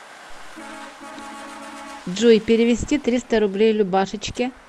джой перевести триста рублей любашечке